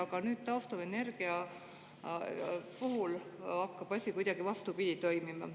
Aga nüüd taastuvenergia puhul hakkab asi kuidagi vastupidi toimima.